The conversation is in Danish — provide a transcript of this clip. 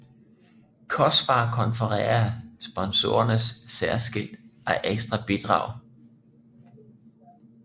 COSPAR konferencer sponsoreres særskilt af ekstra bidrag